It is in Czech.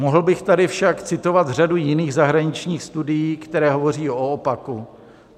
Mohl bych tady však citovat řadu jiných zahraničních studií, které hovoří o opaku.